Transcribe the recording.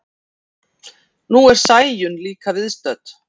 Nú er Sæunn líka viðstödd.